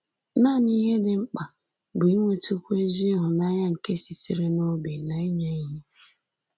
Nanị ihe dị mkpa bụ inwetụkwu ezi ịhụnanya nke sitere n’obi na inye ihe